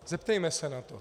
Zeptejme se na to.